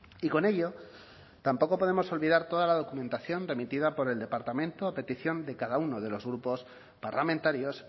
y con ello tampoco podemos olvidar toda la documentación remitida por el departamento a petición de cada uno de los grupos parlamentarios